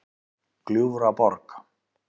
Gljúfraborg